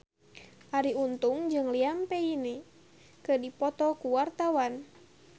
Arie Untung jeung Liam Payne keur dipoto ku wartawan